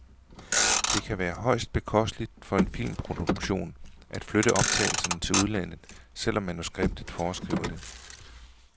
Det kan være højst bekosteligt for en filmproduktion at flytte optagelserne til udlandet, selv om manuskriptet foreskriver det.